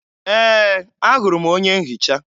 Ee, ahụrụ m onye nhicha